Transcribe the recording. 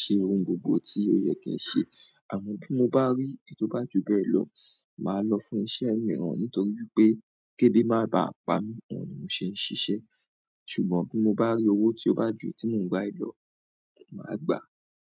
ṣe ohun gbogbo tí ó yẹ kí ń ṣe. Àmọ́ bí mo bá rí ètò bá ju bẹ́ẹ̀ lọ, màá lọ fún iṣẹ́ mìíràn nítorí pé ke ebi má bá à pa mí, òun ni mò ṣe ń ṣiṣẹ́. Ṣùgbọ́n bí mo bá rí owó tí ó bá ju èyí tí mò ń gbà yìí lọ, màá gbà á.